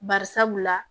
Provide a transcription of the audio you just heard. Bari sabula